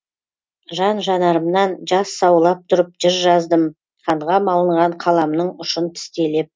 жан жанарымнан жас саулап тұрып жыр жаздым қанға малынған қаламның ұшын тістелеп